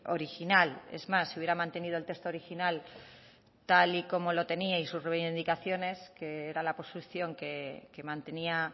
original es más si hubiera mantenido el texto original tal y como lo teníais en sus reivindicaciones que era la posición que mantenía